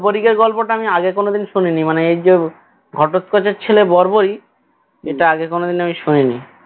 বড়বড়িকের গল্পটা আমি আগে কোনোদিন শুনিনি মানে এই যে ঘটোৎকচের ছেলে বড়বড়িক এটা আগে কোনোদিন আমি শুনিনি